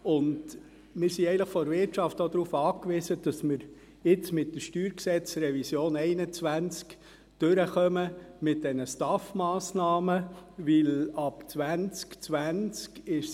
Wir sind vonseiten der Wirtschaft auch darauf angewiesen, dass wir die StG-Revision 2021 mit den Massnahmen im Zusammenhang mit der Steuerreform und AHV-Finanzierung (STAF) durchbringen.